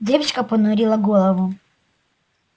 девочка понурила голову